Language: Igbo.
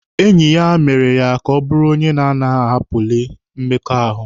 Enyi ya mere ya ka ọ bụrụ onye na-agaghị ahapụlị mmekọahụ.